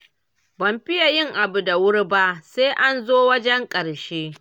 Ban fiye yin abu da wuri ba, sai an zo wajen ƙarshe.